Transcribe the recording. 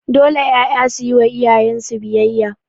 Dole 'ƴaƴa suyi wa iyayen su biyayya